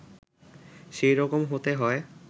সেই রকম হতে হয়